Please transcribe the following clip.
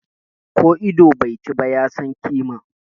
Ko ido bai chi ba, ya san kima.